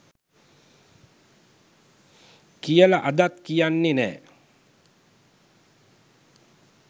කියල අදත් කියන්නේ නෑ